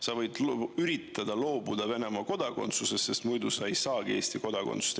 Sa võid üritada loobuda Venemaa kodakondsusest, sest muidu sa ei saagi Eesti kodakondsust.